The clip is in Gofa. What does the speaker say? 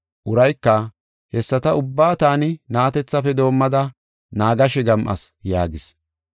Urayka, “Hessata ubbaa taani na7atethafe doomada naagashe gam7as” yaagis.